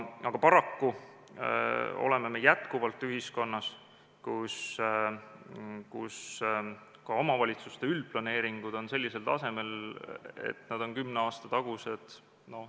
Aga paraku elame me jätkuvalt ühiskonnas, kus ka omavalitsuste üldplaneeringud on sellisel tasemel, et need on kümne aasta tagused.